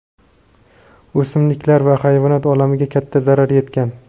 o‘simliklar va hayvonot olamiga katta zarar yetgan.